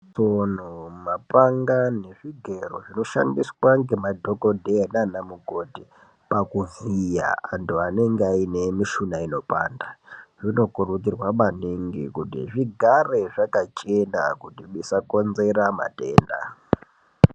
Tsono mapanaga nezvigero zvinoshandiswa ngemadhokodheya nanamukoti paku kuvhiya andu anenge aine mushuna inopanda zvinokurudzirwa maningi kuti zvigare zvakachena kuti zvisakonzera matenda